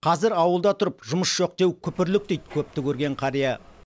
қазір ауылда тұрып жұмыс жоқ деу күпірлік дейді көпті көрген қария